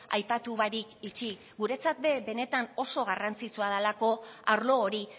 aipatu barik utzi guretzat benetan oso garrantzitsua dalako arlo hori